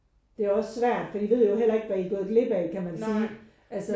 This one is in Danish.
Det er også svært for i ved jo heller ikke hvad i er gået glip af kan man sige altså